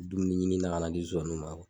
Dumuni ɲinina ka na di zonzaniw ma